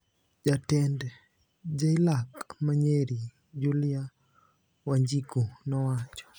Jatend JLAC ma Nyeri, Julia Wanjiku, nowacho: